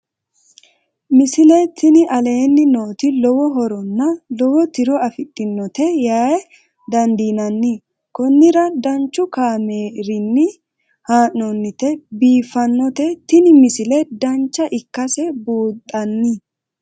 misile tini aleenni nooti lowo horonna lowo tiro afidhinote yaa dandiinanni konnira danchu kaameerinni haa'noonnite biiffannote tini misile dancha ikkase buunxanni